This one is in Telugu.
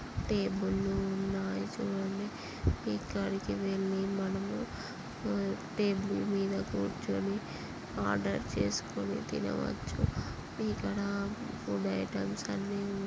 టేబుల్ లు ఉన్నాయి. చూడండి ఇక్కడికి వెళ్లి మనము టేబుల్ మీద కూర్చొని ఆర్డర్ చేసుకొని తినవచ్చు. ఇక్కడ ఫుడ్ ఐటమ్స్ అన్ని ఉం--